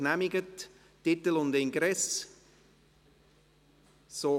Wünscht noch jemand das Wort?